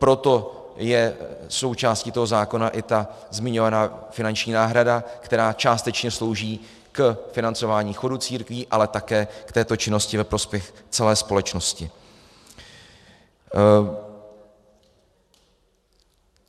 Proto je součástí toho zákona i ta zmiňovaná finanční náhrada, která částečně slouží k financování chodu církví, ale také k této činnosti ve prospěch celé společnosti.